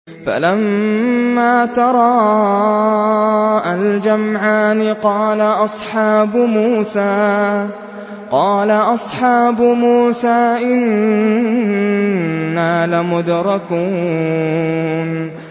فَلَمَّا تَرَاءَى الْجَمْعَانِ قَالَ أَصْحَابُ مُوسَىٰ إِنَّا لَمُدْرَكُونَ